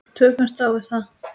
Tökumst á við það.